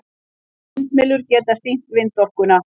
Vindmyllur geta nýtt vindorkuna.